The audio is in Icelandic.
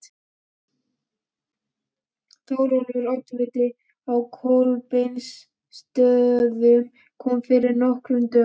Þórólfur oddviti á Kolbeinsstöðum kom fyrir nokkrum dögum.